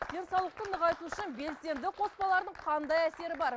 денсаулықты нығайту үшін белсенді қоспалардың қандай әсері бар